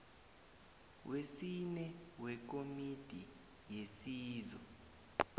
wesine wekomiti yesizo